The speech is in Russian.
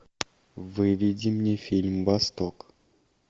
выведи мне фильм восток